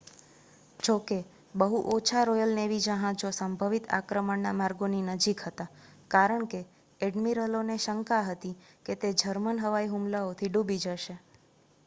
જોકે બહુ ઓછા રૉયલ નેવી જહાજો સંભવિત આક્રમણના માર્ગોની નજીક હતાં કારણ કે ઍડ્મિરલોને શંકા હતી કે તે જર્મન હવાઈ હુમલાઓથી ડૂબી જશે